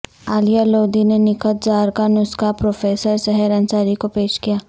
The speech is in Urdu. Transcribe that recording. عالیہ لودھی نے نکہت زار کا نسخہ پروفیسر سحر انصاری کو پیش کیا